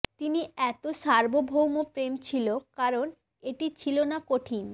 তিনি এত সার্বভৌম প্রেম ছিল কারণ এটি ছিল না কঠিন